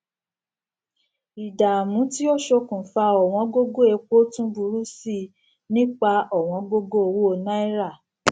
ìdààmú tí ó ṣókùnfà ọwọn gógó epo tún burú sí nípa ọwọn gógó owó náírà